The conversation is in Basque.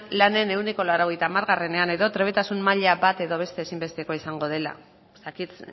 lanean ehuneko laurogeita hamarean edo trebetasun maila bat edo beste ezinbeste izango dela ez dakit